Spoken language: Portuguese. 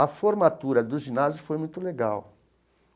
A formatura do ginásio foi muito legal.